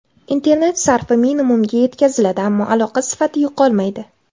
Internet sarfi minimumga yetkaziladi, ammo aloqa sifati yo‘qolmaydi.